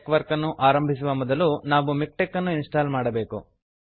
ಟೆಕ್ವರ್ಕ್ ಅನ್ನು ಆರಂಭಿಸುವ ಮೊದಲು ನಾವು ಮಿಕ್ಟೆಕ್ ಅನ್ನು ಇನ್ಸ್ಟಾಲ್ ಮಾಡಬೇಕು